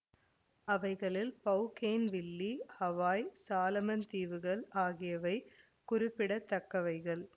அவைகளில் Bougainville Hawaii Solomon தீவுகள் ஆகியவை குறிப்பிடத்தக்கவைகள்